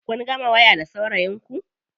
Kun gama waya da saurayin ku?